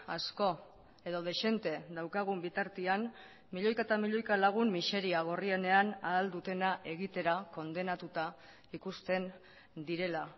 asko edo dezente daukagun bitartean milioika eta milioika lagun miseria gorrienean ahal dutena egitera kondenatuta ikusten direla